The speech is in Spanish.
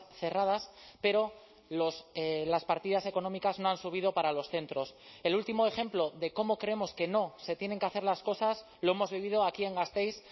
cerradas pero las partidas económicas no han subido para los centros el último ejemplo de cómo creemos que no se tienen que hacer las cosas lo hemos vivido aquí en gasteiz